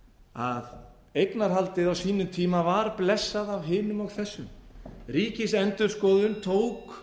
að eignarhaldið á sínum tíma var blessað af hinum og þessum ríkisendurskoðun tók